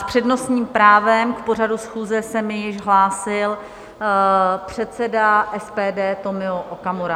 S přednostním právem k pořadu schůze se mi již hlásil předseda SPD Tomio Okamura.